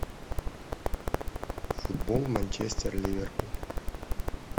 футбол манчестер ливерпуль